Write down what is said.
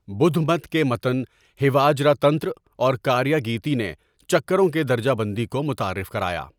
بدھ مت کے متن ہیواجرا تنتر اور کاریاگیتی نے چکروں کے درجہ بندی کو متعارف کرایا۔